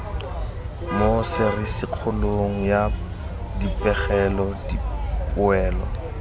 mo serisikgolong ya dipegelo dipoelo